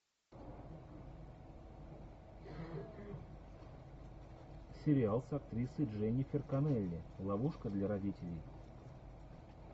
сериал с актрисой дженнифер коннелли ловушка для родителей